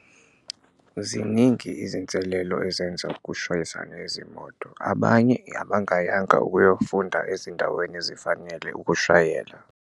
Ziningi izinselelo ezenza kushayisane izimoto, abanye abangayanga ukuyofunda ezindaweni ezifanele ukushayela.